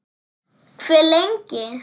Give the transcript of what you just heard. Hve lengi?